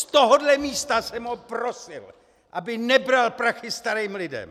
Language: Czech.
Z tohohle místa jsem ho prosil, aby nebral prachy starým lidem.